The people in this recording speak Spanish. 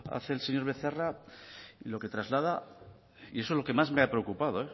hace el señor becerra y lo que traslada y eso es lo que más me ha preocupado